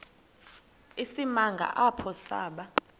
isimanga apho saba